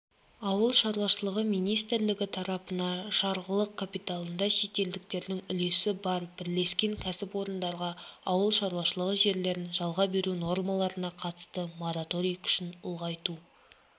ауыл шаруашылығы министрлігі тарапына жарғылық капиталында шетелдіктердің үлесі бар бірлескен кәсіпорындарға ауыл шаруашылығы жерлерін жалға беру нормаларына қатысты мораторий күшін ұлғайту